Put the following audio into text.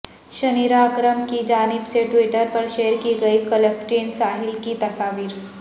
Shaniera Akram کی جانب سے ٹویٹر پر شیئر کی گئی کلفٹن ساحل کی تصاویر